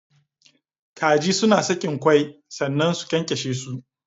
Kaji Suna sakin kwai sannna su kyankyashe su.